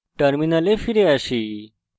terminal ফিরে আসি